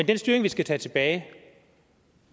den styring vi skal tage tilbage